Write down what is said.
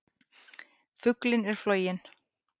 Fuglinn er floginn!